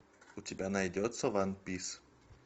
у тебя найдется ван пис